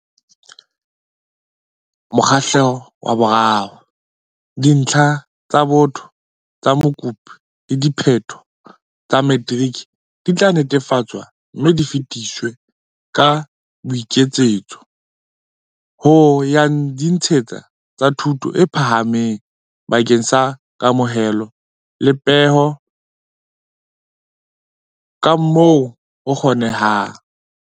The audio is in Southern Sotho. Mokgahlelo wa 3. Dintlha tsa botho tsa mokopi le diphetho tsa matriki di tla netefatswa mme di fetiswe ka boiketsetso ho ya ditsing tsa thuto e phahameng bakeng sa kamohelo le peho kamoo ho kgonehang.